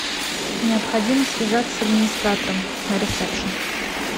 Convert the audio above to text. необходимо связаться с администратором на ресепшн